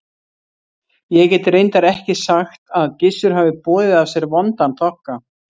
Ég get reyndar ekki sagt að Gissur hafi boðið af sér vondan þokka.